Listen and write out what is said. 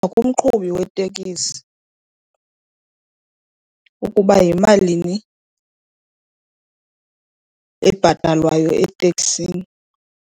Kumqhubi weteksi ukuba yimalini ebhatalwayo eteksini.